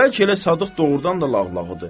Bəlkə elə Sadıq doğurdan da lağlağıdır.